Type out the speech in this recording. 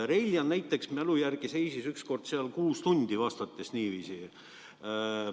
Reiljan näiteks seisis minu mälu järgi seal niiviisi vastates ükskord kuus tundi.